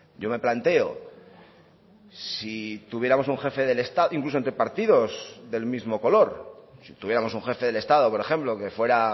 yo me planteo si tuviéramos un jefe del estado incluso entre partidos del mismo color si tuviéramos un jefe del estado por ejemplo que fuera